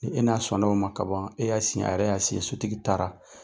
E e n'a sɔnna o ma kaban, e y'a a yɛrɛ y'a , sotigi taara.